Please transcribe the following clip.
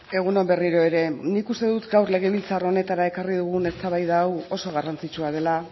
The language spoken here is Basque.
egun on berriro ere nik uste dut gaur legebiltzar honetara ekarri dugun eztabaida hau oso garrantzitsua dela